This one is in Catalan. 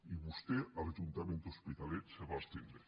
i vostè a l’ajuntament de l’hospitalet se va abstenir